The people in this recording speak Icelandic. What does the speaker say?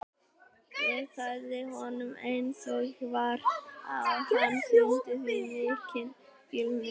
Ég sagði honum eins og var og hann sýndi því mikinn skilning.